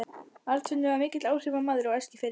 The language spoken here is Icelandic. Arnfinnur var mikill áhrifamaður á Eskifirði.